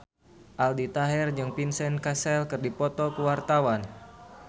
Aldi Taher jeung Vincent Cassel keur dipoto ku wartawan